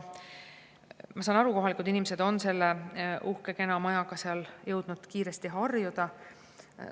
Ma saan aru, et kohalikud inimesed on selle uhke kena majaga jõudnud kiiresti harjuda.